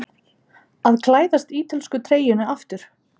Að klæðast ítölsku treyjunni aftur?